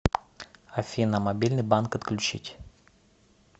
афина мобильный банк отключить